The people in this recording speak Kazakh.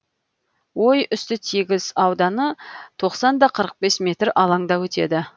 ой үсті тегіс ауданы тоқсан да қырық бес метр алаңда өтеді